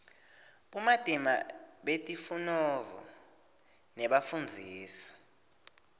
bumatima betifunovo nebafundzisi